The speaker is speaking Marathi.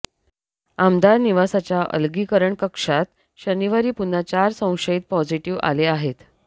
आमदार निवासाच्या अलगीकरण कक्षात शनिवारी पुन्हा चार संशयित पॉझिटिव्ह आले आहेत